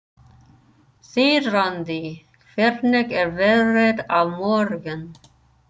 Þiðrandi, hvernig er veðrið á morgun?